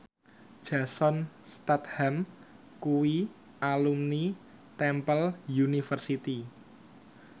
Jason Statham kuwi alumni Temple University